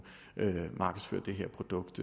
markedsføre det her produkt